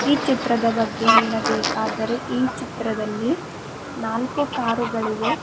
ಈ ಚಿತ್ರದ ಬಗ್ಗೆ ಹೇಳಬೇಕಾದರೆ ಈ ಚಿತ್ರದಲ್ಲಿ ನಾಲ್ಕು ಕಾರುಗಳಿವೆ.